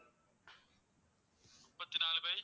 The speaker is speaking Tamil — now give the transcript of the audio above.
முப்பத்தி நாலு by